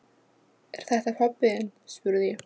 Er þetta pabbi þinn? spurði ég.